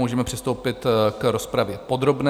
Můžeme přistoupit k rozpravě podrobné.